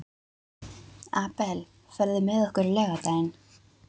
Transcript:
Abel, ferð þú með okkur á laugardaginn?